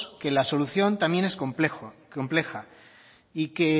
que la solución también es compleja